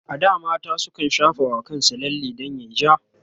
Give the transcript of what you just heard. a da mata sukan shafa wa kansu lalle dan yayi ja